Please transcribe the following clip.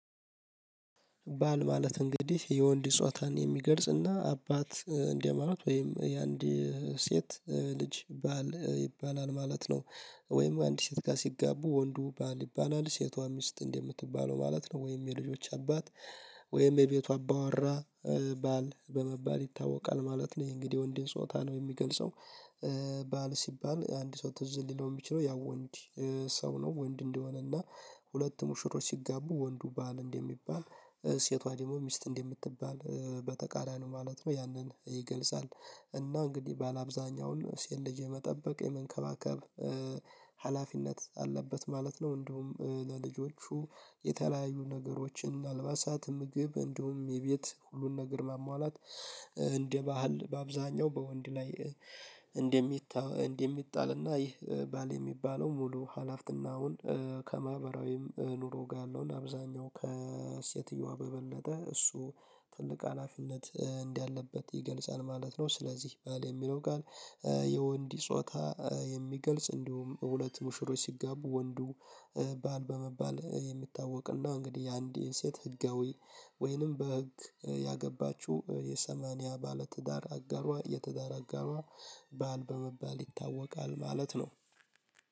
ባል ማለት እንግዲህ የወንድ ጾታን የሚገልጽና አባት እንደማለት ወይም የአንድ ሴት ልጅ ባል ይባላል ማለት ነው። ወይም አንድ ሴት ጋር ሲጋቡ ወንዱ ባል ይባላል ሴቷ ሚስት እንደምትባለው ማለት ነው። ወይም የልጆች አባት። ወይም የቤቷ አባዋራ። ባል በመባል ይታወቃል ማለት ነው እንግዲህ የወንድን ጾታ ነው የሚገልጸው። ባል ሲባል አንድ ሰው ትዝ ሊለው ሚችለው ያው ወንድ። ሰው ነው ወንድ እንደሆነ እና። ሁለት ሙሽሮች ሲጋቡ ወንዱ ባል እንደሚባል ሴቷ ደግሞ ሚስት እንደምትባል በተቃራኒው ማለት ነው ያንን ይገልጻል። እና እንግዲህ ባል አብዛኛውን ሴት ልጅ የመጠበቅ የመንከባከብ ሀላፊነት አለበት ማለት ነው። እንዲሁም ለልጆቹ የተለያዩ ነገሮችን አልባሳትም ምግብ እንደውም የቤት ሁሉን ነገር ማሟላት እንደ ባህል በአብዛኛው በወንድ ላይ። እንደሚታ እና እንደሚጣልና ይህ ባል የሚባለው ሙሉ ሀላፍትናውን። ከማህበራዊም ኑሮ ጋ ያአለውን አብዛኛውን ከሴትየዋ በበለጠ እሱ ትልቅ አላፊነት እንዳለበት ይገልጻል ማለት ነው። ስለዚህ ባል የሚለው ቃል። የወንዲ ጾታ የሚገልጽ እንዲሁም ሁለት ሙሽሮች ሲጋቡ ወንዱ። ባል በመባል የሚታወቅና እንግዲህ አንድ የሴት ህጋዊ። ወይንም በህግ ያገባችው የሰማኒያ ባለትዳር አጋሯ የትዳር አጋሯ። ባል በመባል ይታወቃል ማለት ነው።